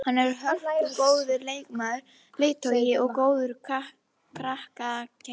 Hann er hörkugóður leikmaður, leiðtogi og góður karakter.